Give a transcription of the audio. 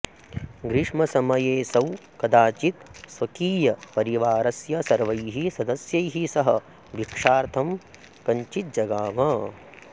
ग्रीष्मसमयेऽसौ कदाचित् स्वकीयपरिवारस्य सर्वैः सदस्यैः सह भिक्षार्थं कञ्चिजगाम